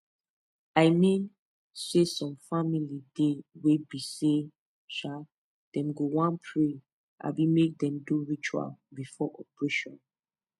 i mean saysome family dey wey be say um dem go wan pray abi make dem do ritual before operation